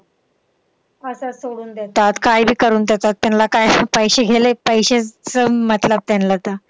असंच सोडून देतात, काय बी करून ठेवतात. त्यांना काय पैशे घेले पैशाचं मतलब त्यांना आता.